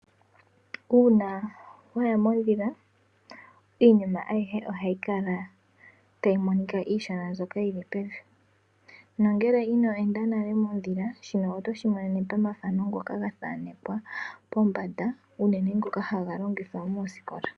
Uuna waya mondhila, iinima ayihe ohayi kala tayimonika iishona mbyoka yili pevi, nangele ino endamo nale mondhila shino otoshi monene momathano ngoka gathaanekwa pombanda uunene ngoka haga longithwa moosikola.